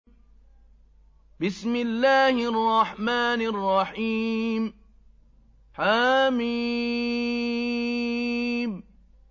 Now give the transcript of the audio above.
حم